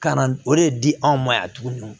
Ka na o de di anw ma yan tuguni